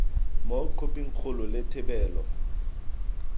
mo khophing kgolo le thebolo